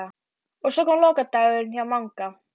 Og svo kom lokadagurinn hjá Manga.